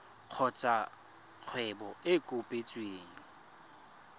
kgotsa kgwebo e e kopetsweng